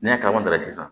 N'i y'a kaman ta sisan